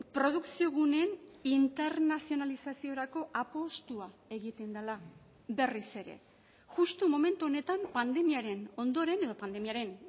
produkzio guneen internazionalizaziorako apustua egiten dela berriz ere justu momentu honetan pandemiaren ondoren edo pandemiaren